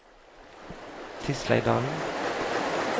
Tisleidalen